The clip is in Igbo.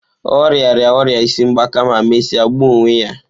Ọ rịara ọrịa isi ngbaka ma mesịa gbuo onwe ya.